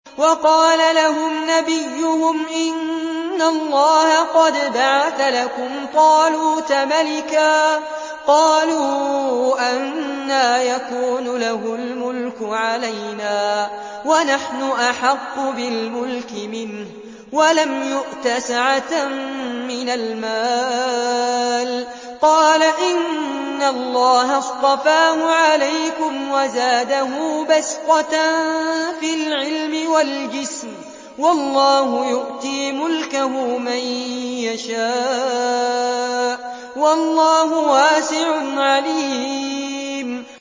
وَقَالَ لَهُمْ نَبِيُّهُمْ إِنَّ اللَّهَ قَدْ بَعَثَ لَكُمْ طَالُوتَ مَلِكًا ۚ قَالُوا أَنَّىٰ يَكُونُ لَهُ الْمُلْكُ عَلَيْنَا وَنَحْنُ أَحَقُّ بِالْمُلْكِ مِنْهُ وَلَمْ يُؤْتَ سَعَةً مِّنَ الْمَالِ ۚ قَالَ إِنَّ اللَّهَ اصْطَفَاهُ عَلَيْكُمْ وَزَادَهُ بَسْطَةً فِي الْعِلْمِ وَالْجِسْمِ ۖ وَاللَّهُ يُؤْتِي مُلْكَهُ مَن يَشَاءُ ۚ وَاللَّهُ وَاسِعٌ عَلِيمٌ